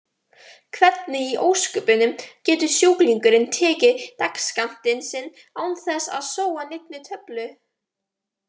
Hvernig í ósköpunum getur sjúklingurinn tekið dagsskammtinn sinn án þess að sóa neinni töflu?